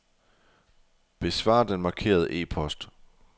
Besvar den markerede e-post.